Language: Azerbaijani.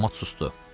Avtomat susdu.